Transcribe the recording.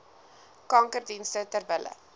kankerdienste ter wille